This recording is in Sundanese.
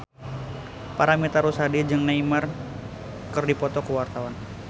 Paramitha Rusady jeung Neymar keur dipoto ku wartawan